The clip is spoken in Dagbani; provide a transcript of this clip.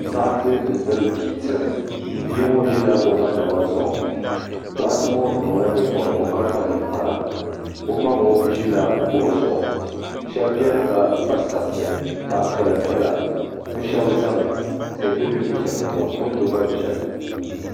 Doɣite n-tiri bia tiim bia ŋɔ ʒila o ma naba zuɣu doɣite ŋɔ niŋla nye'pɔbirigu ka kpa ninkpara o ma ŋɔ ʒila kuɣu zuɣu shɛba beni ka pa sariti zaɣ'piɛla piɛla bɛ shɛba zami tihi be bɛ ni be shɛli polo ŋɔ moto gba beni.